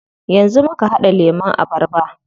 Yanzu muka haɗa lemun abarba.